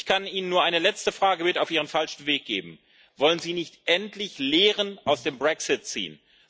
Ich kann Ihnen nur eine letzte Frage mit auf Ihren falschen Weg geben Wollen Sie nicht endlich Lehren aus dem Brexit ziehen?